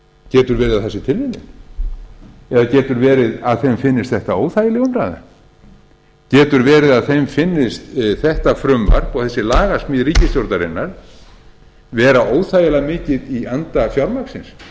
getur verið að það sé tilviljun eða getur verið að þeim finnist þetta óþægileg umræða getur verið að þeim finnist þetta frumvarp og þessi lagasmíð ríkisstjórnarinnar vera óþægilega mikið í anda fjármagnsins